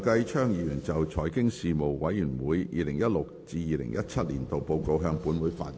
梁繼昌議員就"財經事務委員會 2016-2017 年度報告"向本會發言。